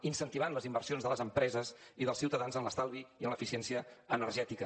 incentivant les inversions de les empreses i dels ciutadans en l’estalvi i en l’eficiència energètica